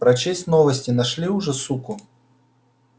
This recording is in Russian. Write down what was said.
прочесть новости нашли уже суку